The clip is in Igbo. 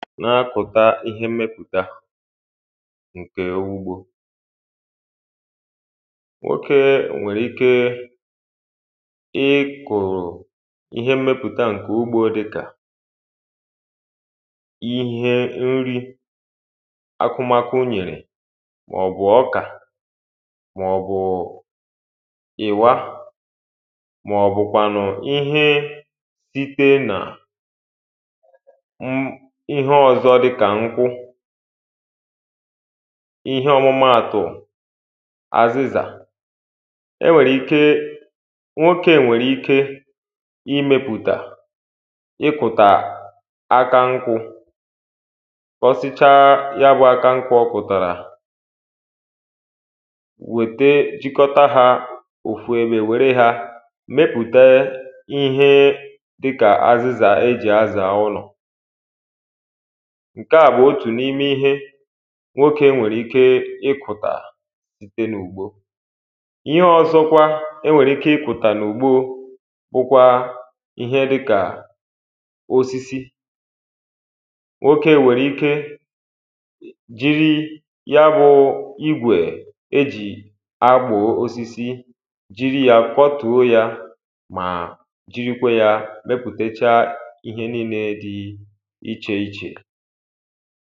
na-akụ̀ta ihe mmepụ̀ta ǹkè ugbō nwokē nwèrè ike ịkụ̀ ihe mmepụ̀ta ǹkè ugbō dịkà ihe nri akụmakụ nyèrè mà ò bù ọkà mà ò bùụ̀ ị̀wa mà ọ̀ bụ̀kwànụ̀ ihe ikpe nà m ihe ọ̀zọ dikà ŋ́kwụ́ ihe ọ́mụ́máàtụ̀ azịzà e nwère ̀ike nwokē nwèrè ike imēpụtà ịpụ̀tà aka ṅkwụ̄ kpọsichaa ya bụ̄ aka ṅkwụ̄ ọ kụ̀tàrà wète jikọta hā òfu ebē wère hā mepùte ihe dịkà azịzà e jì̀ azà ụlọ̀ ṅ̀ke à bụ̀ otù n’ime ihe nwokē nwèrè ike ịkụ̀tà site n’ùgbo ihe ọ̄zọ̄kwā ̄e nwèrè ike ịkụ̀tà n’ùgbo bụ̄kwā ihe dị̄ kà osisi nwokē nwèrè ike jiri ya bū igwè e ji akpụ̀ osisi jiri yā kwọ́tùó yā mà jirikwe yā mepùtechaa ihe niilē dị̄ icheichè